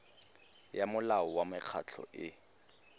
ya molao wa mekgatlho e